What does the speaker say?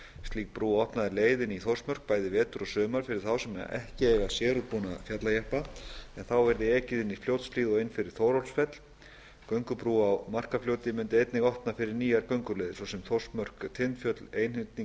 slík brú opnaði leið inn í þórsmörk bæði vetur og sumar fyrir þá sem ekki eiga sérútbúna fjallajeppa en þá yrði ekið inn fljótshlíð og inn fyrir þórólfsfell göngubrú á markarfljóti mundi einnig opna fyrir nýjar gönguleiðir svo sem þórsmörk til tindfjöll